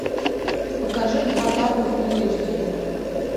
покажи два папы фулл эйч ди